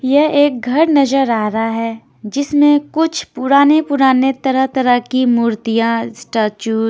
ये एक घर नज़र आ रहा है जिसमे कुछ पुराने पुराने तरह तरह की क मुर्तिया स्टेचू --